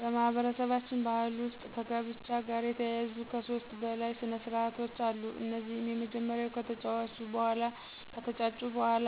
በማህበረሰባችን ባህል ውስጥ ከጋብቻ ጋር የተያያዙ ከሦስት በላይ ስነስርዓቶች አሉ። እነዚህም የመጀመሪያው ከተጫጩ በኋላ